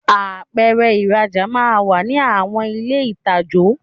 Apèrè ìrajà máa n wà ní àwon ilé itajo